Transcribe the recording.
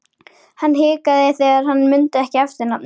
Hann hikaði þegar hann mundi ekki eftirnafnið.